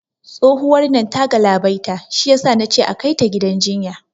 Tsohuwar nan ta galabaita, shiyasa nace akai ta gidan jinya